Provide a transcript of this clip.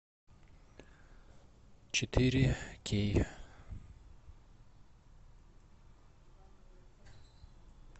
четыре кей